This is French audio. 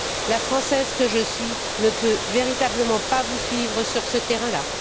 La Française que je suis ne peut véritablement pas vous suivre sur ce terrain là.